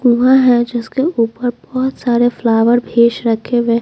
हुआ हैं जिसके ऊपर बहुत सारे फ्लावर भी स रखे हुए हैं ।